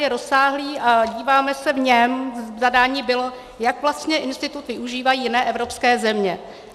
Je rozsáhlý a díváme se v něm, zadání bylo, jak vlastně institut využívají jiné evropské země.